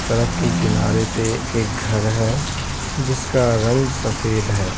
सड़क के किनारे पे एक घर है जिसका रंग सफेद है।